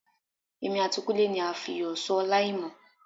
Èmi àti Kúnlé ni a fiyọ̀ sọ láìmọ̀.